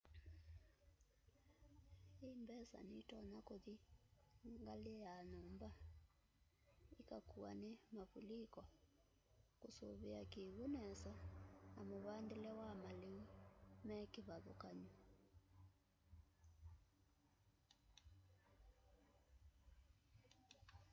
i mbesa nitonya kuthi ngali ya nyumba itakuwa ni mavuliko kusuvia kiw'u nesa na muvandile wa maliu me kivathukany'o